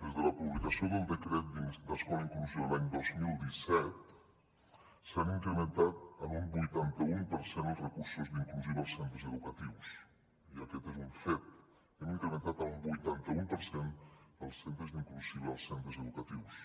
des de la publicació del decret d’escola inclusiva l’any dos mil disset s’han incrementat en un vuitanta un per cent els recursos d’inclusiva als centres educatius i aquest és un fet hem incrementat en un vuitanta un per cent els centres d’inclusiva als centres educatius